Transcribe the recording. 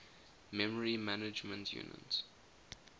memory management unit